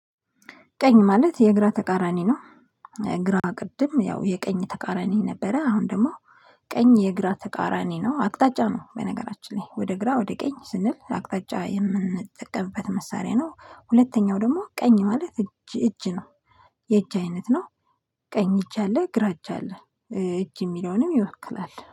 ቀኝ ማለት የግራ ተቃራኒ ነው። ግራ ቅድም ያው የቀኝ ተቃራኒ ነበረ አሁን ደግሞ ቀኝ የግራ ተቃራኒ ነው አቅጣጫ ነው። በነገራችን ላይ ወደ ግራ ወደ ቀኝ ስንል አቅጣጫ የምንጠቀምበት መሳሪያ ነው። ሁለተኛው ደግሞ ቀኝ ማለት እጅ እጅ ነው። የእጅ አይነት ነው። ቀኝ እጅ አለ ግራ እጅ አለ። እጅ የሚለውንም ይወክላል